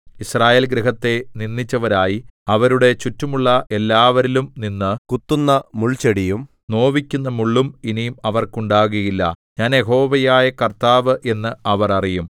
യിസ്രായേൽഗൃഹത്തെ നിന്ദിച്ചവരായി അവരുടെ ചുറ്റുമുള്ള എല്ലാവരിലും നിന്ന് കുത്തുന്ന മുൾച്ചെടിയും നോവിക്കുന്ന മുള്ളും ഇനി അവർക്കുണ്ടാകുകയില്ല ഞാൻ യഹോവയായ കർത്താവ് എന്ന് അവർ അറിയും